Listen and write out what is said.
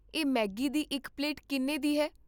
ਇਹ ਮੈਗੀ ਦੀ ਇੱਕ ਪਲੇਟ ਕਿੰਨ੍ਹੇ ਦੀ ਹੈ?